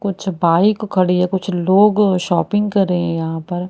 कुछ बाइक खड़ी है कुछ लोग शॉपिंग कर रहे हैं यहां पर।